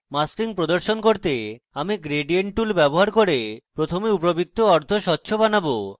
masking প্রদর্শন করতে semi gradient tool ব্যবহার করে প্রথমে উপবৃত্ত অর্ধস্বচ্ছ বানাবো